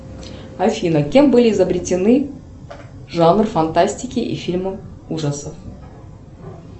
афина кем были изобретены жанр фантастики и фильмов ужасов